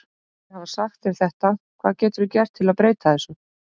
En eftir að hafa sagt þér þetta, hvað geturðu gert til að breyta þessu?